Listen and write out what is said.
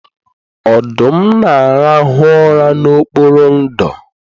Ọdụm na-arahụ ụra n'okpuru ndò